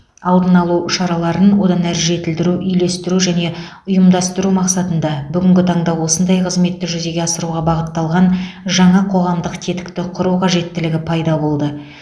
алдын алу шараларын одан әрі жетілдіру үйлестіру және ұйымдастыру мақсатында бүгінгі таңда осындай қызметті жүзеге асыруға бағытталған жаңа қоғамдық тетікті құру қажеттілігі пайда болды